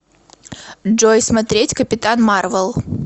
джой смотреть капитан марвел